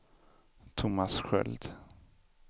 Thomas Sköld